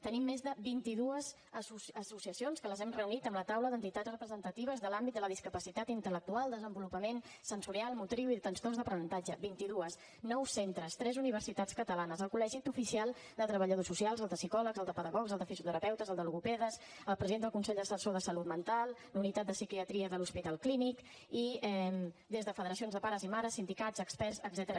tenim més de vint i dues associacions que les hem reunides amb la taula d’entitats representatives de l’àmbit de la discapacitat intel·lectual desenvolupament sensorial motriu i trastorns d’aprenentatge vint i dues nou centres tres universitats catalanes el col·legi oficial de treballadors socials el de psicòlegs el de psicopedagogs el de fisioterapeutes el de logopedes el president del consell assessor de salut mental la unitat de psiquiatria de l’hospital clínic i des de federacions de pares i mares sindicats experts etcètera